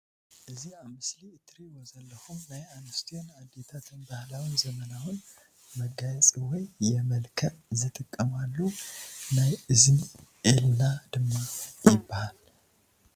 እዚ አብ ምስሊ ትሪእዎ ዘለኩም ናይ ኣንስትዬ ን ኣደታትን ባህላዊን ዘመናዊን መጋየፂ ወይ የመልክዕ ዝጥቀማሉ ናይ እዝኒ እልና ድማ ይበሃል።